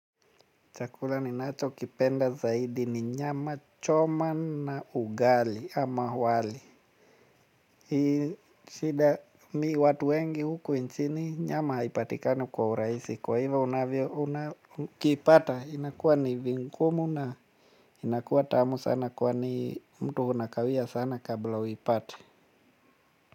Chakula ninachokipenda zaidi ni nyama choma na ugali ama wali. Hii shida mimi watu wengi huku nchini nyama haipatikani kwa urahisi kwa hivo unavyo unakipata inakuwa ni vigumu na inakuwa tamu sana kwani mtu unakawia sana kabla uipate.